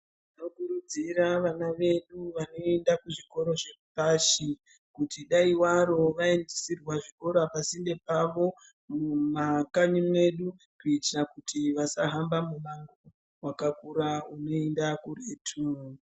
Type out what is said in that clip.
Tinokurudzira vana vedu vanoenda kuzvikora zvepashi kuti dai waro vaisirwa zvikora pasinde pavo mumakanyi medu kuitira kuti vasahamba muhambo wakakura unoenda kuretu.